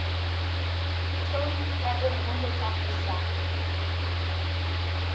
tone ka nngwe ho tsamaisa